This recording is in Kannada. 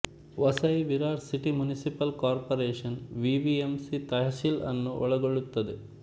Vasai Virar city municipal corporation VVMC tehsil ಅನ್ನು ಒಳಗೊಳ್ಳುತ್ತದೆ